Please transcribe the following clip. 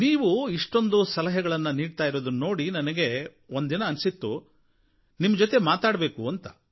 ನೀವು ಇಷ್ಟೊಂದು ಸಲಹೆಗಳನ್ನು ನೀಡ್ತಾ ಇರೋದನ್ನು ನೋಡಿ ನನಗೆ ಒಂದಿನ ಅನ್ನಿಸಿತು ನಿಮ್ಮ ಜೊತೆ ಮಾತಾಡಬೇಕು ಅಂತ